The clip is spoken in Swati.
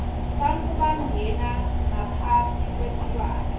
bantfu bangena ngaphasi kwetilwane